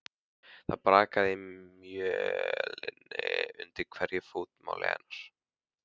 Það brakaði í mölinni undir hverju fótmáli hennar.